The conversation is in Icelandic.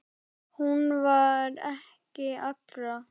Hún var ekki allra.